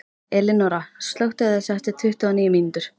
Elinóra, slökktu á þessu eftir tuttugu og níu mínútur.